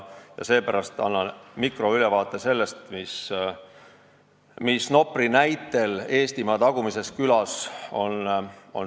Seepärast annan mikroülevaate sellest, mis on Nopri näitel ühes Eestimaa tagumises külas sündinud.